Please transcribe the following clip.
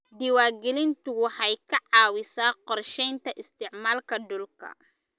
Diiwaangelintu waxay ka caawisaa qorshaynta isticmaalka dhulka.